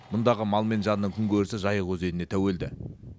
мұндағы мал мен жанның күнкөрісі жайық өзеніне тәуелді